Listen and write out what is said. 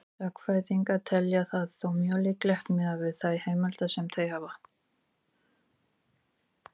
Sagnfræðingar telja það þó mjög líklegt miðað við þær heimildir sem þeir hafa.